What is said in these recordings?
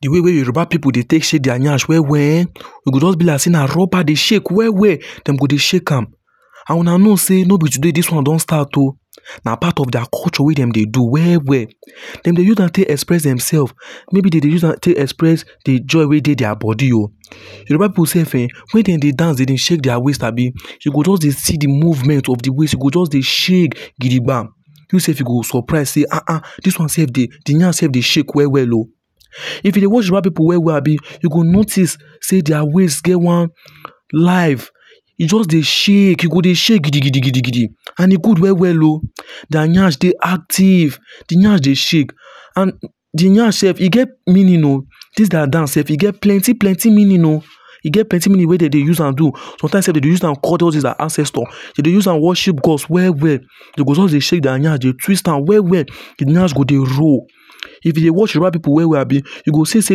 The way wey Yoruba pipu dey take shake their nyash well well, e go just be like say na rubber dey shake well well. Dem go dey shake am and Una know say no be today dis one don start o. Na part of their culture wey dem dey do well well. Dem dey use am take express themselves. Maybe dem dey use am take express di joy wey dey their body o Yoruba people self um wen dem dey dance dey shake their waist abi, you go just dey see di movement of di waist. E go just dey shake gidigba, you self you go surprise say um this wan self dey Di nyash self dey shake well well o If e dey watch Yoruba pipu well well, you go notice sey their waist get one life. E just dey shake. E go dey shake gidigidigidi and e good well well oh. Their nyash dey active di nyash dey shake and di nyash self e get meaning o This their dance self e get plenty plenty meaning o. E get plenty meaning wey dem dey use am do sometimes self dem dey use am call all those their ancestors, dem dey use am worship gods well well. Dey go just dey shake their nyash dey twist am well well. Di nyash go dey roll. If e dey watch Yoruba pipu well well, you go see say,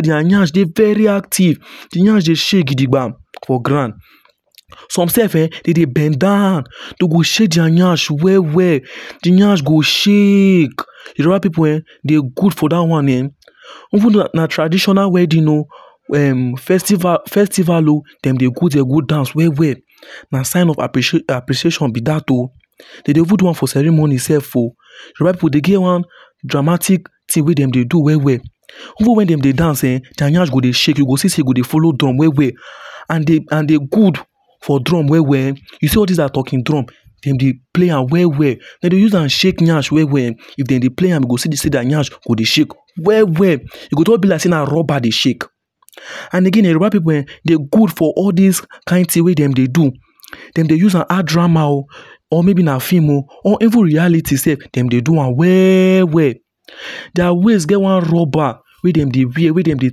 their nyash dey very active, di nyash dey shake gidigba for ground. Some self um dem go bend down Dem go shake their nyash well well, de nyash go shake. Yoruba pipu um, dem good for that one um Even though na traditional wedding o um festival o dem dey go there go dance well well. Na sign of appre Appreciation be that o. Dem dey even do am for ceremony self o. Yoruba pipu dem get one dramatic thing wey dem dey do well well. Even when dem dey dance um their nyash go dey shake, you go see sey e go dey follow drum well well. And dey and dey good for drum well well. E see all this our talking drum, dem dey play am well well. Dem dey use am shake nyash well well. If dem dey play am, you go see say their nyash go dey shake well well. E go just be like say na rubber dey shake. And again um Yoruba pipu um dem good for all this kind thing wey dem dey do. Dem dey use am act drama o or maybe na film o or even reality sef dem dey do am well well. Their waist gets one rubber wey dem dey wear wey dem dey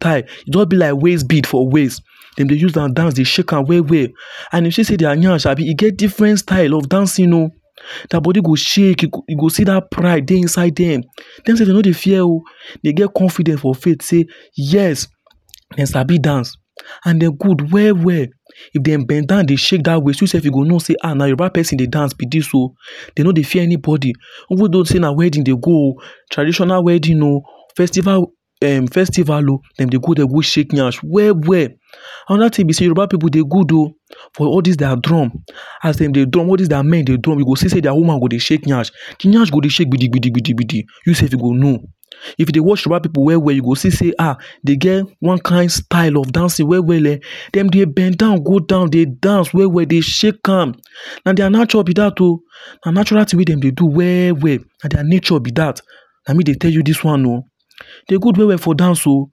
tie e jus be like waist bead for waist. Dem dey use am dance dey shake am well well. And e show say their nyash abi e get different style of dancing o. Their body go shake, you go you go see that pride dey inside them. Dem self dem no dey fear oh. Dem get confidence for faith say yes dem sabi dance and dem good well well. If dem bend down dey shake that waist, you self you go know sey um na Yoruba person dey dance be this o. Dem no dey fear anybody. even though say na wedding dem dey go o traditional wedding o festival um festival oh, dem dey go there go shake nyash well well. Another thing be say Yoruba people dey good oh for all this their drum. As dem dey drum all these their men dey drum you go see sey their women go dey shake nyash. Nyash go dey shake gbidigbidi gbidigbidi. You self you go know. If you dey watch Yoruba pipu well well, you go see say um dey get one kind style of dancing well well um. Dem dey bend down go down dey dance well well dey shake am and na their nature be that o. Na natural thing wey dem dey do well well. Na their nature be that. Na me dey tell you this one o Dey good well well for dance o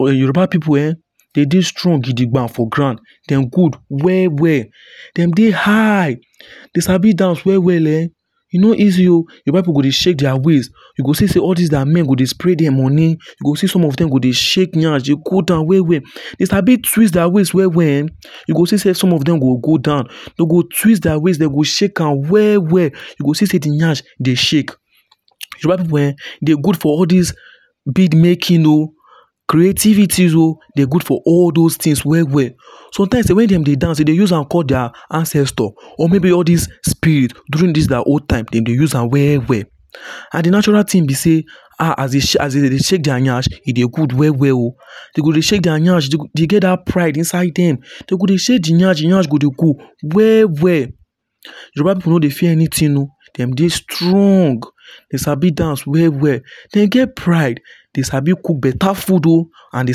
Yoruba pipu um, dem dey strong gidigba for ground. Dem good well well. Dem dey high, dem sabi dance well well um E no easy o Yoruba pipu go dey shake their waist. You go see say all these their men go dey spray dem money, you go see some of them go dey shake nyash dey go down well well. Dem sabi twist their waist well well um. You see say some of them go go down, dem go twist their waist Dem go shake am well well, you go see say de nyash dey shake Yoruba pipu um dey good for all this bead making o creativities o Dey good for all those things o Sometimes dem way wey dem dey dance, dem dey use am call their ancestors or maybe all this spirit during their own time dem dey use am well well. And de natural thing be sey, as dem dey shake nyash, e dey good well well oh. Dey go dey shake their nyash. Dey get that pride inside dem. Dem go dey shake de nyash, de nyash go dey go well well. Yoruba pipu no dey fear anything o Dem dey strong. Dem sabi dance well well. Dem get pride dey sabi cook beta food o And dey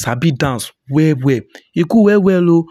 sabi dance well well. E good well well o